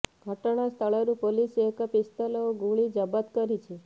ଘଟଣାସ୍ଥଳରୁ ପୁଲିସ ଏକ ପିସ୍ତଲ ଓ ଗୁଳି ଜବତ କରିଛି